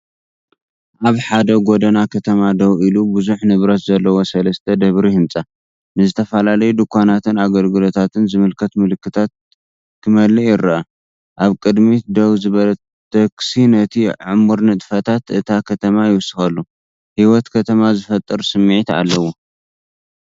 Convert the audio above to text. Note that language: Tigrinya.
ኣብ ሓደ ጎደና ከተማ ደው ኢሉ ብዙሕ ንብረት ዘለዎ ሰለስተ ደብሪ ህንጻ፡ ንዝተፈላለዩ ድኳናትን ኣገልግሎታትን ዝምልከት ምልክታት ክመልእ ይረአ። ኣብ ቅድሚት ደው ዝበለት ታክሲ ነቲ ዕሙር ንጥፈታት እታ ከተማ ይውስኸሉ። ህይወት ከተማ ዝፈጥር ስምዒት ኣለዎ።